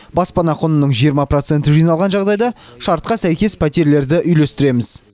баспана құнының жиырма проценті жиналған жағдайда шартқа сәйкес пәтерлерді үйлестіреміз